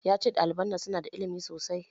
Ya ce ɗaliban nan su na da ilimi sosai